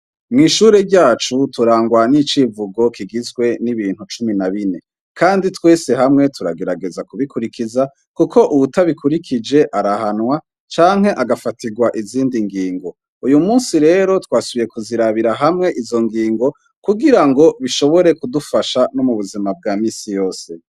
Mw'ishure ryacu turangwa n'icivugo kigizwe n'ibintu cumi na bine, kandi twese hamwe turagerageza kubikurikiza, kuko uwutabikurikije arahanwa canke agafatirwa izindi ngingo, uyu musi rero twasubiye kuzirabira hamwe izo ngingo, kugirango bishobore kudufasha no m'ubuzima bwa misi yose.